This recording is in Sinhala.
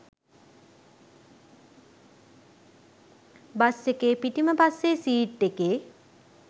බස් එකේ පිටිම පස්සෙ සීට් එකේ